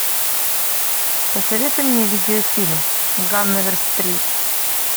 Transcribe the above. посоветуй мне видео фильм ганновер стрит